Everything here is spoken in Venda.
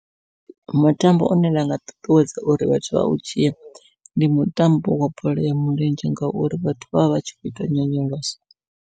Mutambo une nda nga ṱuṱuwedza uri vhathu vha u dzhie ndi mutambo wa bola ya milenzhe ngauri vhathu vha vha vhatshi kho ita nyonyoloso.